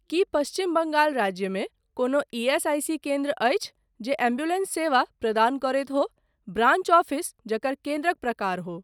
की पश्चिम बंगाल राज्यमे कोनो ईएसआईसी केन्द्र अछि जे एम्बुलेंस सेवा प्रदान करैत हो ब्रांच ऑफिस जकर केन्द्रक प्रकार हो।